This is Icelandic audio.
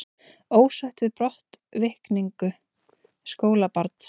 Ósátt við brottvikningu skólabarns